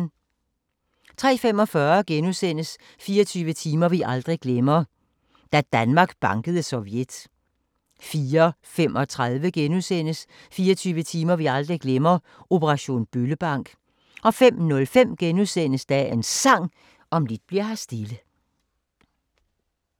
03:45: 24 timer vi aldrig glemmer – Da Danmark bankede Sovjet * 04:35: 24 timer vi aldrig glemmer – Operation Bøllebank * 05:05: Dagens Sang: Om lidt bli'r her stille *